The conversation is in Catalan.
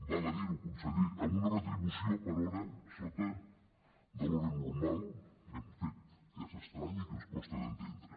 val a dir ho conseller amb una retribució per hora sota de l’hora normal un fet que és estrany i que ens costa d’entendre